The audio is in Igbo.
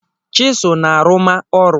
Chiselụ na-arụma ọrụ.